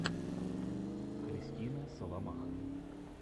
христина соломаха